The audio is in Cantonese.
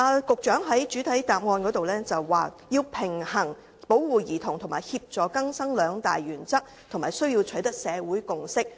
局長在主體答覆中表示，要"平衡保護兒童及協助更生兩大原則，並需要取得社會共識"。